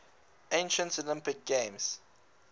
ancient olympic games